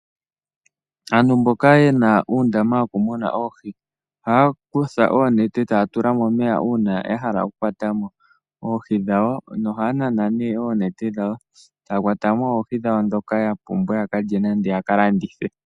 Aantu mboka yena uundama wo ku muna oohi, oha ya kutha oknete, ta ya tula momeya uuna ya hala oku kwata mo oohi dhawo, no ha ya nana ne oonete dhawo, ta ya kwata mo oohi dhawo ndhoka ta pumbwa, ya ka lye nenge ya ka landithe.